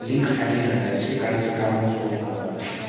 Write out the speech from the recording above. Link fail हीं रहता है जिसके कारण से काम बहुत स्लो होता है।